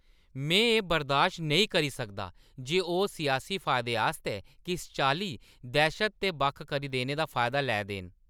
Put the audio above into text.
में एह्‌ बर्दाश्त नेईं करी सकदा जे ओह्‌ सियासी फायदे आस्तै किस चाल्ली दैह्‌शत ते बक्ख करी देने दा फायदा लै दे न।